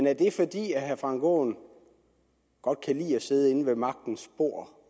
er det fordi herre frank aaen godt kan lide at sidde med ved magtens bord